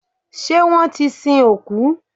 Ṣé wọ́n ti sin òkú?